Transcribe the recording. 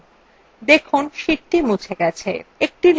দেখুন sheetthe মুছে গেছে